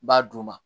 N b'a d'u ma